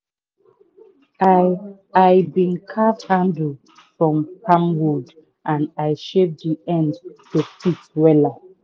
i i been carve handle from palm wood and i shape d end to fit wela.